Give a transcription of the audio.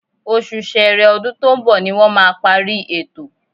Oṣù Sẹẹrẹ ọdún tó ń bọ̀ ni wọ́n máa parí ètò